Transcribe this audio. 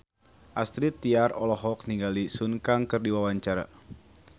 Astrid Tiar olohok ningali Sun Kang keur diwawancara